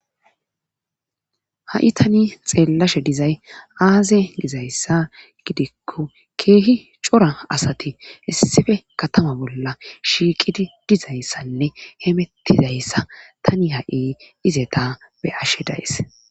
ha7i tani xeellashe dizay aaze dizayssa gidikko keehi cora asati issife katama bolla shiiqidi dizayssanne hemettidayssa tani ha7i izeta be ashe days